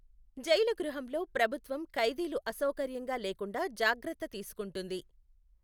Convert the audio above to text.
Jail గృహంలో ప్రభుత్వం ఖైదీలు అసౌకర్యంగా లేకుండా జాగ్రత్త తీసుకుంటుంది.